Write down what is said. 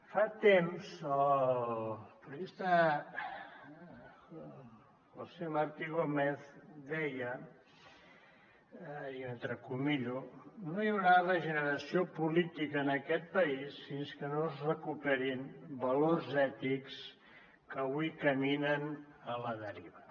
fa temps el periodista josé martí gómez deia i ho poso entre cometes no hi haurà regeneració política en aquest país fins que no es recuperin valors ètics que avui caminen a la deriva